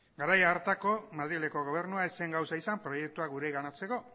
garai hartako madrileko gobernua ez zen gauza izan proiektua gureganatzeko